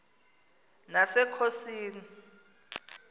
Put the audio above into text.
nasekhosini